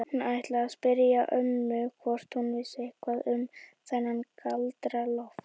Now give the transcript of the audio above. Hún ætlaði að spyrja ömmu hvort hún vissi eitthvað um þennan Galdra-Loft.